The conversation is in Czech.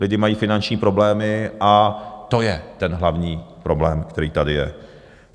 Lidi mají finanční problémy, a to je ten hlavní problém, který tady je.